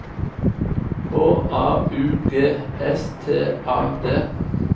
H A U G S T A D